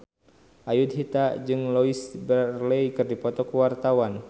Ayudhita jeung Louise Brealey keur dipoto ku wartawan